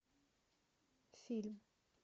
фильм